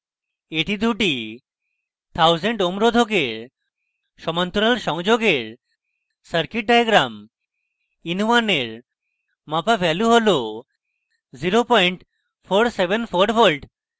এটি দুটি 1000 ohm রোধকের সমান্তরাল সংযোগের circuit diagram in1 এর মাপা value হল 0474v